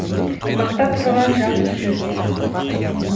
мақтап тұрған жақ үшін де